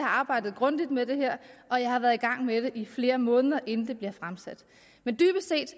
arbejdet grundigt med det her og jeg har været i gang med det i flere måneder inden det blev fremsat men